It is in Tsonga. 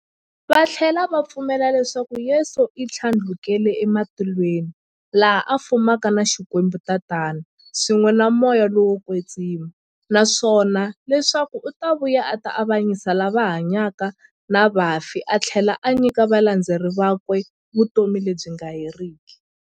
Vathlela va pfumela leswaku Yesu u thlandlukele e matilweni, laha a fumaka na Xikwembu-Tatana, swin'we na Moya lowo kwetsima, naswona leswaku u ta vuya a ta avanyisa lava hanyaka na vafi athlela a nyika valandzeri vakwe vutomi lebyi nga heriki.